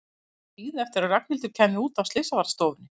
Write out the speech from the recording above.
Hann var að bíða eftir að Ragnhildur kæmi út af slysavarðstofunni.